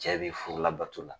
Cɛ bi furulabato la